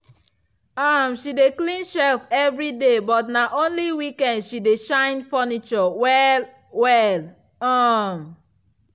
um she dey clean shelf evriday but na only weekend she dey shine furniture well-well. um